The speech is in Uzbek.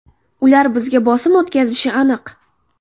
Ular bizga bosim o‘tkazishi aniq.